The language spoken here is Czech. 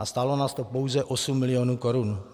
A stálo nás to pouze 8 milionů korun.